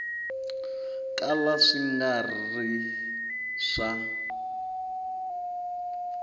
kala swi nga ri swa